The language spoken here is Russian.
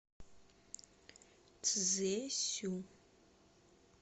цзесю